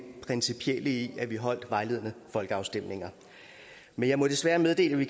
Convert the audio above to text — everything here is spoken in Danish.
principielle i at vi holder vejledende folkeafstemninger men jeg må desværre meddele at vi